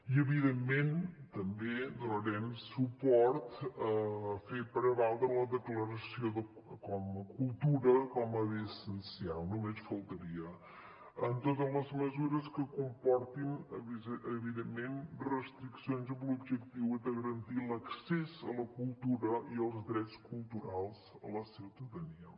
i evidentment també donarem suport a fer prevaldre la declaració de cultura com a bé essencial només faltaria en totes les mesures que comportin evidentment restriccions amb l’objectiu de garantir l’accés a la cultura i als drets culturals a la ciutadania